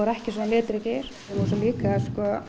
ekki svona litríkir og svo líka